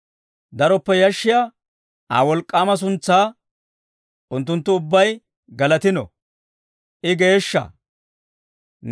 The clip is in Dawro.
Daroppe yashshiyaa Aa wolk'k'aama suntsaa, unttunttu ubbay galatino. I geeshsha!